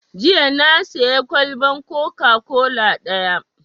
Jiya na sayi kwalban coca-cola ɗaya